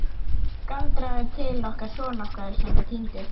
Galdraðu til okkar son okkar sem er týndur.